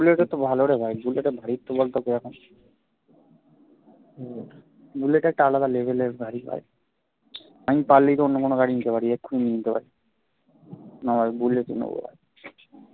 বুলেটে তো ভালো রে ভাই বুলেটের ভারিত্ত বলত কিরকম হম বুলেট একটা আলাদা level এর গাড়ি ভাই আমি পারলেই তো অন্য কোনও গাড়ি নিতে পার এক্ষুনি নিয়ে নিতে পারি না বুলেটই নেবো ভাই